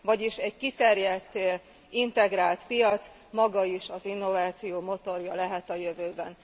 Vagyis egy kiterjedt, integrált piac maga is az innováció motorja lehet a jövőben.